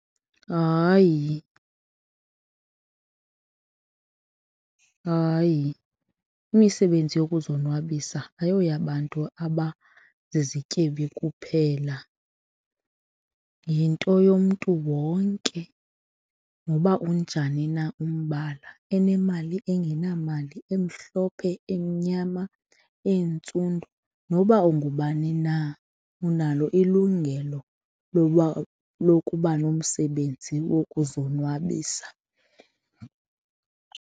Hayi. Hayi, imisebenzi yokuzonwabisa ayoyabantu abazizityebi kuphela yinto yomntu wonke noba unjani na umbala, enemali, engenamali, emhlophe, emnyama, entsundu. Noba ungubani na, unalo ilungelo loba lokuba nomsebenzi wokuzonwabisa.